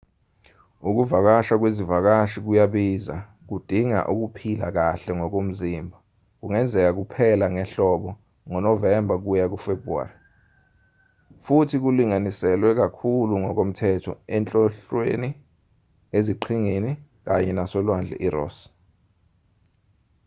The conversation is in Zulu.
ukuvakasha kwezivakashi kuyabiza kudinga ukuphila kahle ngokomzimba kungenzeka kuphela ngehlobo ngonovemba kuya kufebhruwari futhi kulinganiselwe kakhulu ngokomthetho enhlonhlweni eziqhingini kanye nasolwandle iross